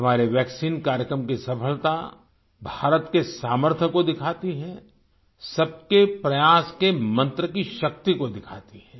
हमारे वैक्सीन कार्यक्रम की सफलता भारत के सामर्थ्य को दिखाती है सबके प्रयास के मंत्र की शक्ति को दिखाती है